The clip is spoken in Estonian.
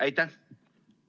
Aitäh!